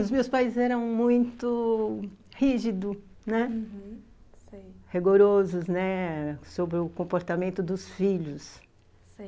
Os meus pais eram muito... rígidos, né, uhum, sei, rigorosos, né sobre o comportamento dos filhos, sei